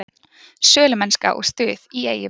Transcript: Sölumennska og stuð í Eyjum